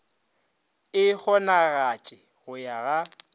e kgonagatše go ya ga